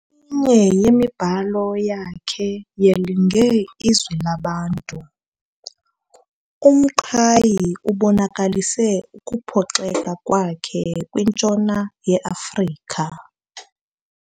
Kweminye yemibhalo yakhe yelinge Izwi Labantu, uMqhayi ubonakalise ukuphoxeka kwakhe kwintshona yeAfrika.